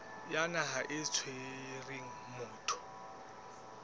ya naha e tshwereng motho